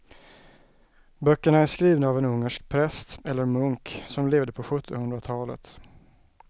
Böckerna är skrivna av en ungersk präst eller munk som levde på sjuttonhundratalet.